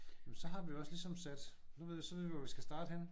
Jamen så har vi jo også ligesom sat nu ved vi så ved vi hvor vi skal starte henne